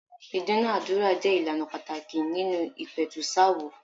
Ìdúnàándúrà jẹ́ ìlànà pàtàkì nínú ìpẹ̀tùsááwọ̀.